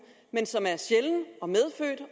men som er sjælden